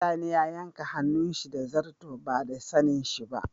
Sani ya yanka hannun shi da zarto ba da sanin shi ba.